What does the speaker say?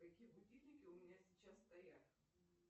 какие будильники у меня сейчас стоят